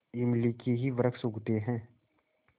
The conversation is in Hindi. इमली के ही वृक्ष उगते हैं